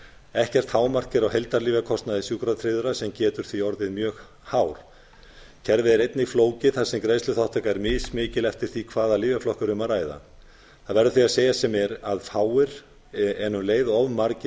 ekkert hámark er á heildarlyfjakostnaði sjúkratryggðra sem getur því orðið mjög hár kerfið er einnig flókið þar sem greiðsluþátttaka er mis mikil eftir því hvaða lyfjaflokk er um að ræða það verður því að segjast sem er að fáir en um leið of margir